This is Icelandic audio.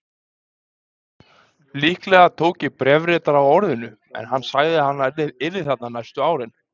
Líklega tók ég bréfritara á orðinu, en hann sagði að hann yrði þarna næstu árin.